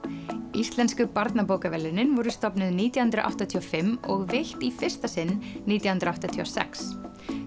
íslensku barnabókaverðlaunin voru stofnuð nítján hundruð áttatíu og fimm og veitt í fyrsta sinn nítján hundruð áttatíu og sex